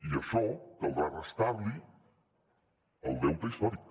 i a això caldrà restar li el deute històric